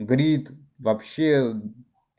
грид вообще